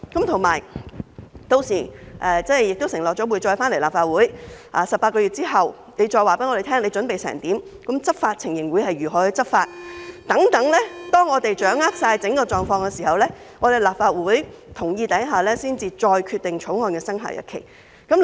此外，當局已經承諾將來會再回來立法會，在18個月後，再告訴我們準備情況和如何執法等，待我們掌握整個狀況後，在得到立法會的同意下，再決定《條例草案》的生效日期。